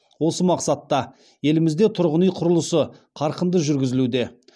осы мақсатта елімізде тұрғын үй құрылысы қарқынды жүргізілуде